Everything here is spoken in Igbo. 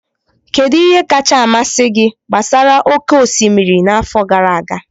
Kedu ihe kacha amasị gị gbasara oke osimiri n'afọ gara aga?